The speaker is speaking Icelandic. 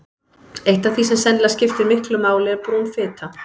Eitt af því sem sennilega skiptir miklu máli er brún fita.